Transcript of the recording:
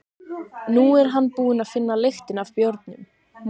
Nú er hann búinn að finna lyktina af bjórnum.